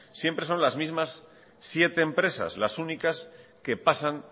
siempre son las mismas siete empresas las únicas que pasan